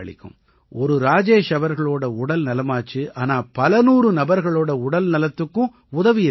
ஒரு ராஜேஷ் அவர்களோட உடல் நலமாச்சு ஆனா பலநூறு நபர்களோட உடல்நலத்துக்கும் உதவியிருக்காரு